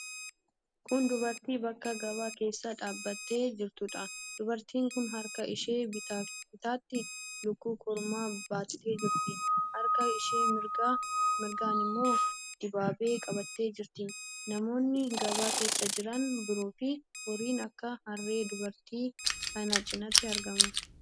Kun dubartii bakka gabaa keessa dhaabbattee jirtuudha. Dubartiin kun harka ishee bitaatti lukkuu kormaa baattee jirti. Harka ishee mirgaan immoo dibaabee qabattee jirti. Namoonni gabaa keessa jiran biroofi horiin akka harree dubartii kana cinatti argamu.